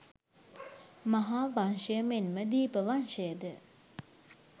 මහාවංශය මෙන්ම දීපවංශය ද